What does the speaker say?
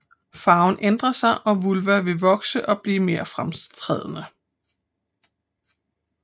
Farven ændrer sig og vulva vil vokse og blive mere fremtrædende